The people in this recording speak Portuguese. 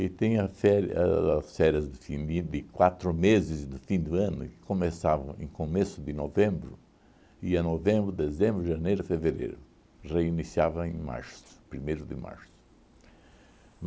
e tinha féri as férias de fim de quatro meses do fim do ano, que começavam em começo de novembro, ia novembro, dezembro, janeiro, fevereiro, reiniciava em março, primeiro de março.